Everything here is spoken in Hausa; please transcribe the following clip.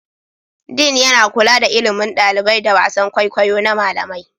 Dean yana kula da ilimin ɗalibai da wasan kwaikwayo na malamai.